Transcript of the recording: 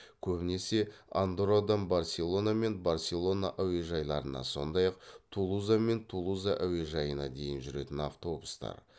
көбінесе андоррадан барселона мен барселона әуежайларына сондай ақ тулуза мен тулуза әуежайына дейін жүретін автобустар